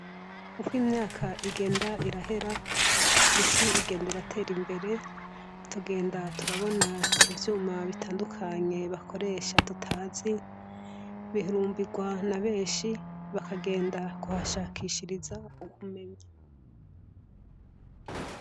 Uko imyaka igenda irahera isi ingene iratera imbere, tugenda turabona ivyuma bitandukanye bakoresha tutazi bihurumbirwa na benshi, bakagenda kuhashakishiriza ubumenyi.